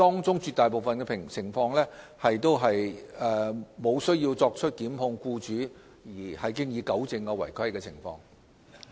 在絕大部分情況下，積金局無需對僱主作出檢控，便已糾正違規情況。